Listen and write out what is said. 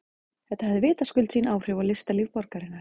Þetta hafði vitaskuld sín áhrif á listalíf borgarinnar.